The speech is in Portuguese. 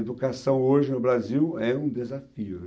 Educação hoje no Brasil é um desafio, né?